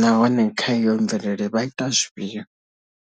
nahone kha iyo mvelele vha ita zwifhio.